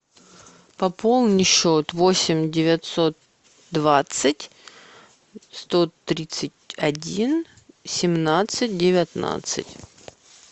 пополни счет восемь девятьсот двадцать сто тридцать один семнадцать девятнадцать